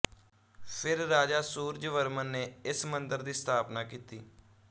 ਫਿਰ ਰਾਜਾ ਸੂਰਜਵਰਮਨ ਨੇ ਇਸ ਮੰਦਰ ਦੀ ਸਥਾਪਨਾ ਕੀਤੀ